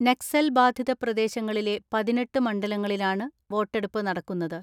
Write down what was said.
നക്സൽ ബാധിത പ്രദേശങ്ങളിലെ പതിനെട്ട് മണ്ഡലങ്ങളിലാണ് വോട്ടെടുപ്പ് നടക്കുന്നത്.